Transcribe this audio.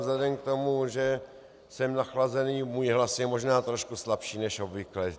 Vzhledem k tomu, že jsem nachlazený, můj hlas je možná trošku slabší než obvykle.